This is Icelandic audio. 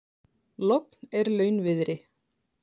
Logn er launviðri.